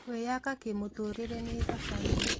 Kwĩyaka kĩmũtũrĩre nĩ thabarĩ